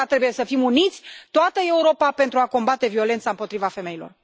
De aceea, trebuie să fim uniți, toată Europa, pentru a combate violența împotriva femeilor.